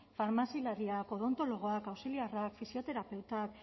farmazialariak odontologoak auxiliarrak fisioterapeutak